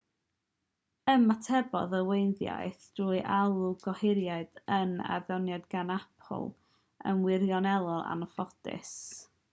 ymatebodd y weinyddiaeth trwy alw gohiriad yr adroddiad gan apple yn wirioneddol anffodus